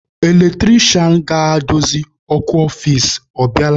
Eletrisha ga-edozi ọkụ ọfici, ọ bịala?